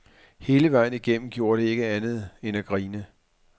Hele vejen igennem gjorde de ikke andet end at grine.